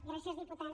gràcies diputada